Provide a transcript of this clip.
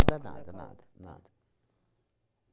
Nada, nada, nada.